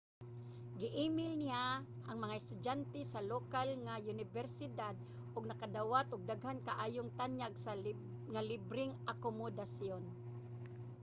gi-email niya ang mga estudyante sa lokal nga unibersidad ug nakadawat og daghan kaayong tanyag nga libreng akomodasyon